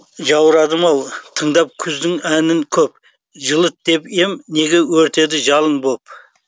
жаурадым ау тыңдап күздің әнін көп жылыт деп ем неге өртедің жалын боп